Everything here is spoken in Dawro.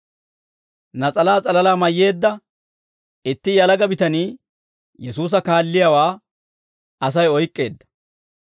Nas'alaa s'alalaa mayyeedda itti yalaga bitanii Yesuusa kaalliyaawaa Asay oyk'k'eedda.